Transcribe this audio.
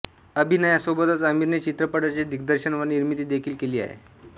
अभिनयासोबतच आमिरने चित्रपटांचे दिग्दर्शन व निर्मिती देखील केली आहे